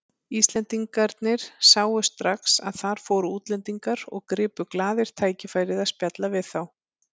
Íslendingarnir sáu strax að þar fóru útlendingar og gripu glaðir tækifærið að spjalla við þá.